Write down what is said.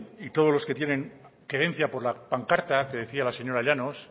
y todos los que tienen querencia por la pancarta que decía la señora llanos